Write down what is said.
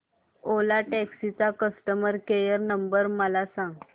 ओला taxi चा customer care number मला सांग